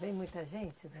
Vem muita gente?